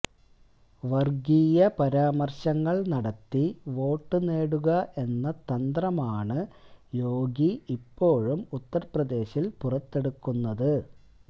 വര്ഗീയ പരാമര്ശങ്ങള് നടത്തി വോട്ട് നേടുക എന്ന തന്ത്രമാണ് യോഗി ഇപ്പോഴും ഉത്തര്പ്രദേശില് പുറത്തെടുക്കുന്നത്